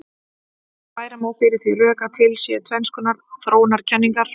Færa má fyrir því rök að til séu tvenns konar þróunarkenningar.